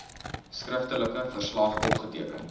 skriftelike verslag opgeteken